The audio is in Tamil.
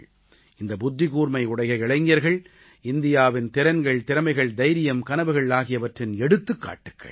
இந்த புத்திகூர்மை உடைய இளைஞர்கள் இந்தியாவின் திறன்கள் திறமைகள் தைரியம் கனவுகள் ஆகியவற்றின் எடுத்துக்காட்டுக்கள்